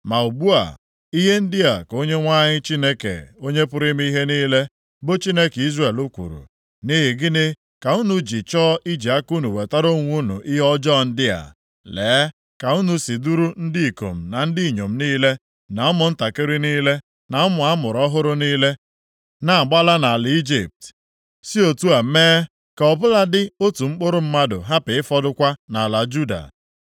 “Ma ugbu a, ihe ndị a ka Onyenwe anyị Chineke Onye pụrụ ime ihe niile, bụ Chineke Izrel kwuru, Nʼihi gịnị ka unu ji chọọ iji aka unu wetara onwe unu ihe ọjọọ ndị a? Lee ka unu si duru ndị ikom na ndị inyom niile, na ụmụntakịrị niile, na ụmụ a mụrụ ọhụrụ niile na-agbala nʼala Ijipt, si otu a mee ka, ọ bụladị, otu mkpụrụ mmadụ hapụ ịfọdụkwa nʼala Juda.